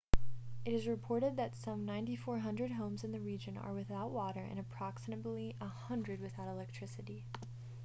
it is reported that some 9400 homes in the region are without water and approximately 100 without electricity